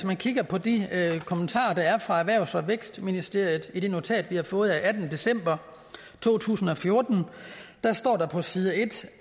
man kigger på de kommentarer der er fra erhvervs og vækstministeriet i det notat vi har fået af attende december to tusind og fjorten står der på side en